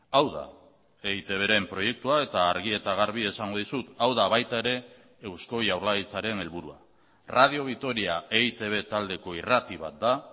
hau da eitbren proiektua eta argi eta garbi esango dizut hau da baita ere eusko jaurlaritzaren helburua radio vitoria eitb taldeko irrati bat da